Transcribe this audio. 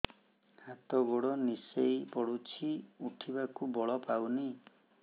ହାତ ଗୋଡ ନିସେଇ ପଡୁଛି ଉଠିବାକୁ ବଳ ପାଉନି